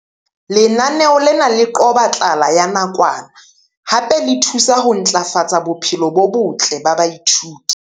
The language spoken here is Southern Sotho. Lenaneo lena le qoba tlala ya nakwana hape le thusa ho ntlafatsa bophelo bo botle ba baithuti.